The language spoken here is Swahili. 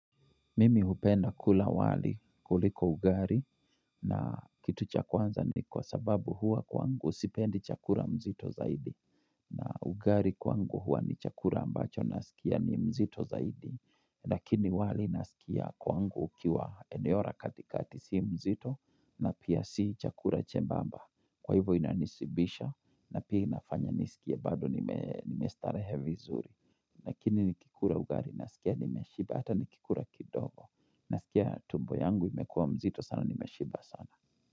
Mimi hupenda kula wali kuliko ugari na kitu chakwanza ni kwa sababu hua kwa ngu sipendi chakura mzito zaidi. Na ugari kwangu hua ni chakura ambacho na sikia ni mzito zaidi. Lakini wali na sikia kwangu ukiwa eneo ra katikati si mzito na pia si chakura chembamba. Kwa hivyo inanisibisha na pia inafanya nisikia bado nimestarehe vizuri. Nakini nikikura ugari na sikia nimeshibata nikikura kidogo. Nasikia tumbo yangu imekuwa mzito sana, nimeshiba sana.